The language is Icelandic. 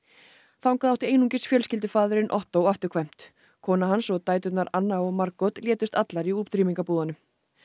þaðan átti einungis fjölskyldufaðirinn Otto afturkvæmt kona hans og dæturnar Anna og Margot létust allar í útrýmingarbúðunum